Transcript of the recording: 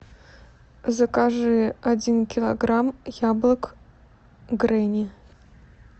закажи один килограмм яблок гренни